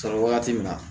Sɔrɔ wagati min na